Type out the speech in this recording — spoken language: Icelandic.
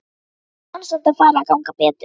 Ég vona samt að fari að ganga betur.